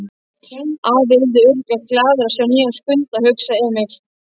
Afi yrði örugglega glaður að sjá nýjan Skunda, hugsaði Emil.